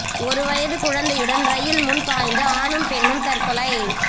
ஒரு வயதுக் குழந்தையுடன் ரயில் முன் பாய்ந்து ஆணும் பெண்ணும் தற்கொலை